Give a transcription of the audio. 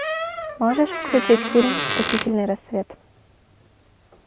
можешь включить фильм спасительный рассвет